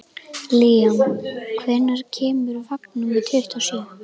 Líam, hvenær kemur vagn númer tuttugu og sjö?